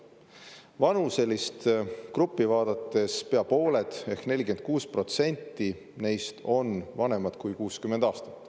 Vanuselist gruppi vaadates pea pooled ehk 46% neist on vanemad kui 60 aastat.